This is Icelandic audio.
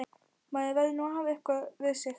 Maður verður nú að hafa eitthvað við sig!